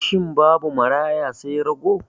Shin babu maraya sai rago?